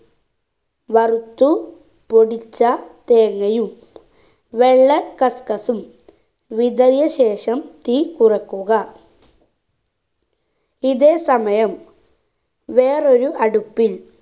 വറുത്തു പൊടിച്ച തേങ്ങയും വെള്ള cuscus ഉം വിതറിയ ശേഷം തീ കുറക്കുക ഇതേ സമയം വേറൊരു അടുപ്പിൽ